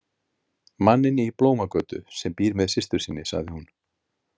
Manninn í Blómagötu sem býr með systur sinni, sagði hún.